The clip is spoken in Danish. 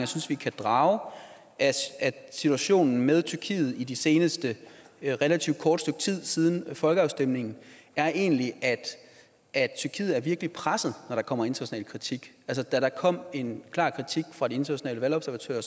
synes vi kan drage af situationen med tyrkiet i det seneste relativt korte stykke tid siden folkeafstemningen er egentlig at tyrkiet virkelig er presset når der kommer international kritik da der kom en klar kritik fra de internationale valgobservatører